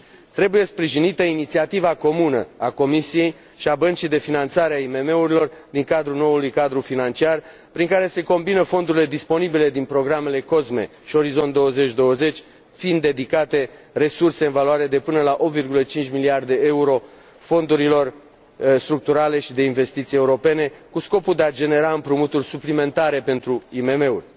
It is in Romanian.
Trebuie sprijinită inițiativa comună a Comisiei și a băncii de finanțare a IMM urilor din cadrul noului cadru financiar, prin care se combină fondurile disponibile din programele COSME și Orizont 2020, fiind dedicate resurse în valoare de până la 8,5 miliarde de euro fondurilor structurale și de investiții europene cu scopul de a genera împrumuturi suplimentare pentru IMM uri.